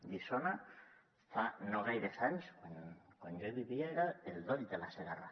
guissona fa no gaires anys quan jo hi vivia era el doll de la segarra